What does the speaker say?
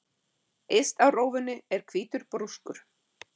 Yst á rófunni er hvítur brúskur.